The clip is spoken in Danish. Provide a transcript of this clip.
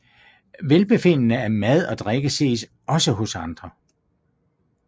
Velbefindende af mad og drikke ses også hos andre